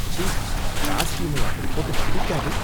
ச்சீ! காஸ்டியூமை அப்படிப் போட்டு கடிக்காதே.